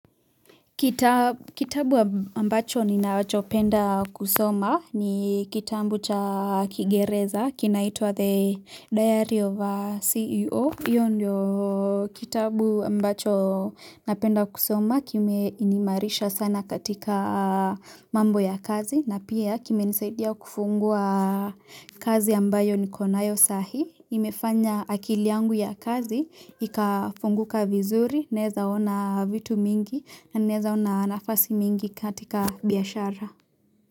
Kitabu ambacho ni nachopenda kusoma ni kitabu cha kigereza kinaitwa the diary of a CEO. Iyo ndio kitabu ambacho napenda kusoma kime inimarisha sana katika mambo ya kazi na pia kime nisaidia kufungua. Kazi ambayo nikonayo sahi. Imefanya akiliangu ya kazi, ikafunguka vizuri, neza ona vitu mingi na neza ona nafasi mingi katika biyashara.